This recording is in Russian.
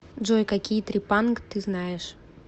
джой какие трепанг ты знаешь